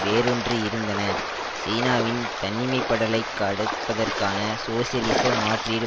வேரூன்றி இருந்தன சீனாவின் தன்னிமைப்படலைக் கடுப்பதற்கான சோசியலிச மாற்றீடு